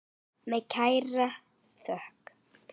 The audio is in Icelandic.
Með kærri þökk.